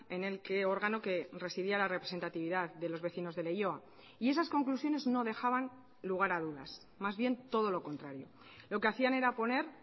en el que órgano que residía la representatividad de los vecinos de leioa y esas conclusiones no dejaban lugar a dudas más bien todo lo contrario lo que hacían era poner